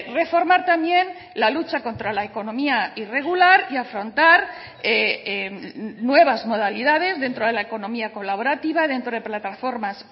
reformar también la lucha contra la economía irregular y afrontar nuevas modalidades dentro de la economía colaborativa dentro de plataformas